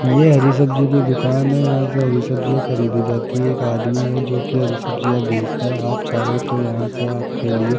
ये हरी सब्जी की दुकान है यहां से हरी सब्जी खरीदी जाती है एक आदमी है जो की हरी सब्जियां बेचता है आप चाहो तो यहां से आपके लिए --